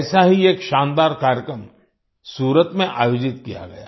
ऐसा ही एक शानदार कार्यक्रम सूरत में आयोजित किया गया